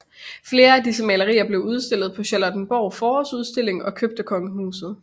Flere af disse malerier blev udstillet på Charlottenborg Forårsudstilling og købt af kongehuset